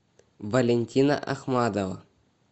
валентина ахмадова